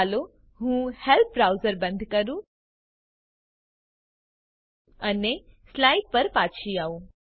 ચાલો હું help browser બંધ કરું અને સ્લાઈડ પર પાછી આવું